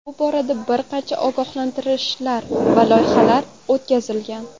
Bu borada bir qancha ogohlantirishlar va loyihalar o‘tkazilgan.